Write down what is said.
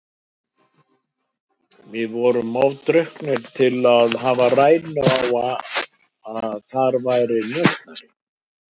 Við vorum of drukknir til að hafa rænu á að þar var njósnari.